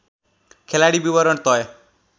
खेलाडी विवरण तय